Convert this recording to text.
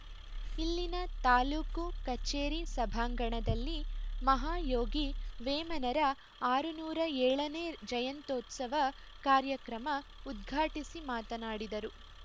ಇಲ್ಲಿನ ತಾಲೂಕು ಕಚೇರಿ ಸಭಾಂಗಣದಲ್ಲಿ ಮಹಾಯೋಗಿ ವೇಮನರ ಆರುನೂರ ಏಳು ನೇ ಜಯಂತ್ಯುತ್ಸವ ಕಾರ್ಯಕ್ರಮ ಉದ್ಘಾಟಿಸಿ ಮಾತನಾಡಿದರು